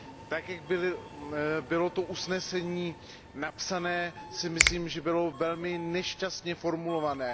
Tak, jak bylo to usnesení napsané, si myslím, že bylo velmi nešťastně formulované.